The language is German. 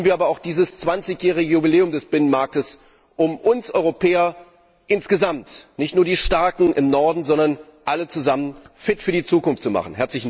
Nutzen wir aber auch dieses zwanzigjährige Jubiläum des Binnenmarktes, um uns Europäer insgesamt nicht nur die starken im Norden, sondern alle zusammen fit für die Zukunft zu machen!